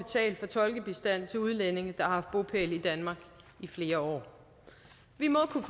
tolkebistand til udlændinge der har haft bopæl i danmark i flere år vi må kunne